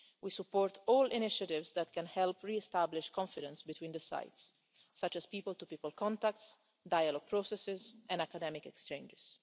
We support all initiatives that can help re establish confidence between the sides, such as people to people contacts, dialogue processes and academic exchanges.